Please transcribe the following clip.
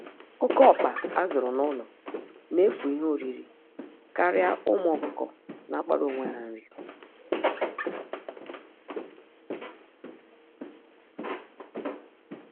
Oke ọkpa a zụrụ n'ụlo na-efu ihe oriri karịa ụmụ ọkụkọ na-akpara onwe ha nri